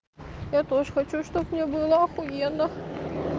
я тоже хочу чтоб мне было ахуенно